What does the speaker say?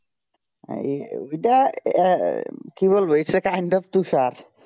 এই ওইটা আহ কি বলবো এইটার কান্ড তুষার